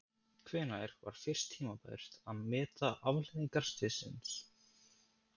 Hvenær var fyrst tímabært að meta afleiðingar slyssins?